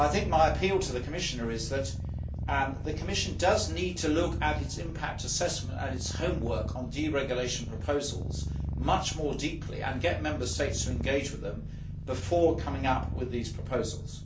My appeal to the Commissioner is that the Commission does need to look at its impact assessment and its homework on deregulation proposals much more deeply and get Member States to engage with them before coming up with these proposals.